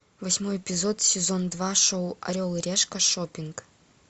восьмой эпизод сезон два шоу орел и решка шоппинг